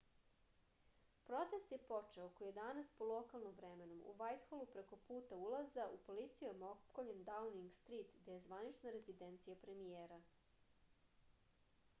протест је почео око 11:00 по локалном времену utc+1 у вајтхолу преко пута улаза у полицијом опкољен даунинг стрит где је званична резиденција премијера